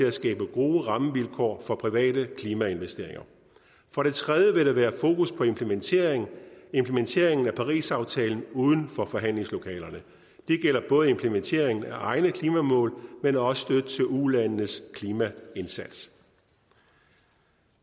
at skabe gode rammevilkår for private klimainvesteringer for det tredje vil der være fokus på implementering implementering af parisaftalen uden for forhandlingslokalerne det gælder både implementering af egne klimamål men også støtte til ulandenes klimaindsats